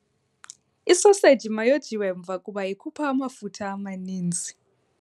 Isoseji mayojiwe mva kuba ikhupha amafutha amaninzi.